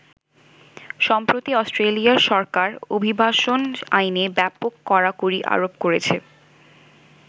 সম্প্রতি অষ্ট্রেলিয়ার সরকার অভিবাসন আইনে ব্যাপক কড়াকড়ি আরোপ করেছে।